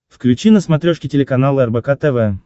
включи на смотрешке телеканал рбк тв